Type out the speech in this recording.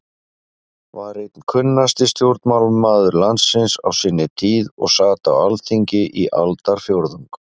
var einn kunnasti stjórnmálamaður landsins á sinni tíð og sat á Alþingi í aldarfjórðung.